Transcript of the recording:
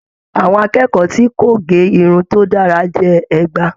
Àwọn akẹ́kọ̀ọ́ tí kò ge irun to dára jẹ ẹgba.